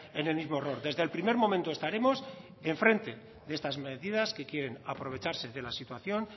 en el mismo error desde el primer momento estaremos enfrente de estas medidas que aprovecharse de la situación